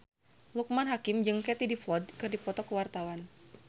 Loekman Hakim jeung Katie Dippold keur dipoto ku wartawan